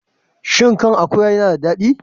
Shin kan akuwa yana da daɗi?